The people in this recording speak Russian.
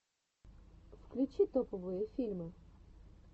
включи топовые фильмы